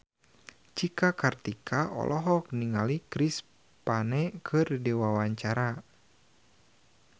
Cika Kartika olohok ningali Chris Pane keur diwawancara